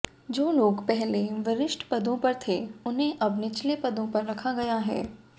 जो लोग पहले वरिष्ठ पदों पर थे उन्हें अब निचले पदों पर रखा गया है